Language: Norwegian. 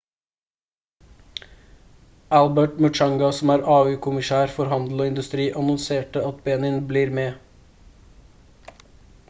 albert muchanga som er au-kommisær for handel og industri annonserte at benin blir med